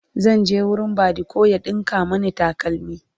zan je wurin badiko ya ɗinka Mani takalmi